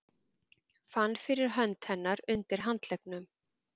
Fann fyrir hönd hennar undir handleggnum.